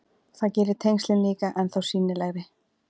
Það gerir tengslin líka ennþá sýnilegri.